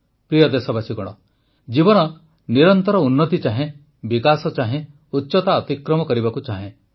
ପ୍ରିୟ ଦେଶବାସୀଗଣ ଜୀବନ ନିରନ୍ତର ଉନ୍ନତି ଚାହେଁ ବିକାଶ ଚାହେଁ ଉଚ୍ଚତା ଅତିକ୍ରମ କରିବାକୁ ଚାହେଁ